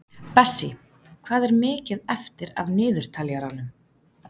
Bessí, hvað er mikið eftir af niðurteljaranum?